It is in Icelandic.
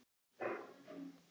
Stundum elti ég hana.